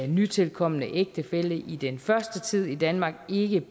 nytilkomne ægtefælle i den første tid i danmark ikke